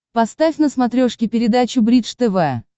поставь на смотрешке передачу бридж тв